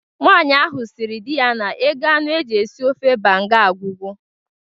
Nwaanyi ahụ sịrị dị ya na ego anụ e ji esi ofe banga agwugo